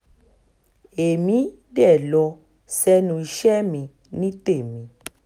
èmi dé lọ sẹ́nu iṣẹ́ mi ní tèmi